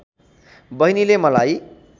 बहिनीले मलाई